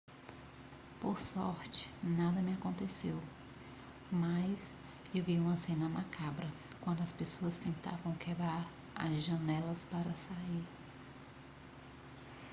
por sorte nada me aconteceu mas eu vi uma cena macabra quando as pessoas tentavam quebrar as janelas para sair